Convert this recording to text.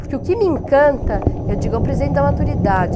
Porque o que me encanta, eu digo, é o presente da maturidade.